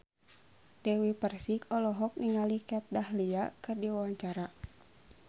Dewi Persik olohok ningali Kat Dahlia keur diwawancara